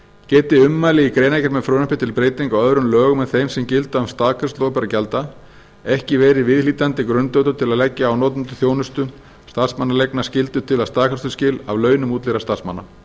geti ummæli í greinargerð með frumvarpi til breytinga á öðrum lögum en þeim sem gilda um staðgreiðslu opinberra gjalda ekki verið viðhlítandi grundvöllur til að leggja á notendur þjónustu starfsmannaleigna skyldu til staðgreiðsluskila af launum útleigðra starfsmanna